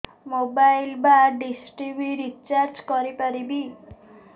mobile ବା dish TV recharge କରି ପାରିବି